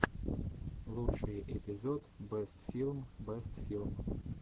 лучший эпизод бэст филм бэст фильм